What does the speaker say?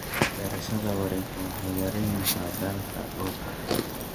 Beerashada wareegtadu waxay yaraynaysaa daalka dhulka.